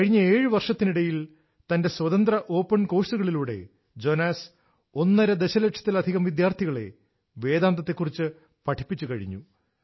കഴിഞ്ഞ 7 വർഷത്തിനിടയിൽ തന്റെ സ്വതന്ത്ര ഓപ്പൺ കോഴ്സുകളിലൂടെ ജോനാസ് ഒന്നര ദശലക്ഷത്തിലധികം വിദ്യാർത്ഥികളെ വേദാന്തത്തെക്കുറിച്ച് പഠിപ്പിച്ചു കഴിഞ്ഞു